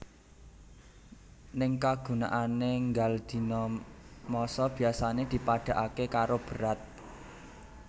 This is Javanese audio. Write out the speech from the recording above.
Ning kagunaané nggal dina massa biasané dipadhakaké karo berat